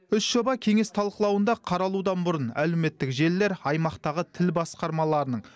үш жоба кеңес талқылауында қаралудан бұрын әлеуметтік желілер аймақтағы тіл басқармаларының